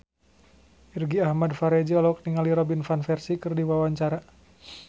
Irgi Ahmad Fahrezi olohok ningali Robin Van Persie keur diwawancara